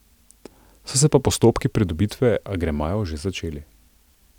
So se pa postopki pridobitve agremajev že začeli.